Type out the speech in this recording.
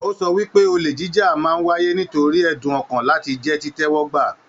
O sọ wípé, ole jíjà máa n wáyé nítorí ẹdun ọkan láti jẹ titẹ́wọ́gba.